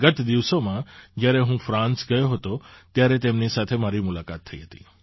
ગત દિવસોમાં જ્યારે હું ફ્રાન્સ ગયો હતો ત્યારે તેમની સાથે મારી મુલાકાત થઈ હતી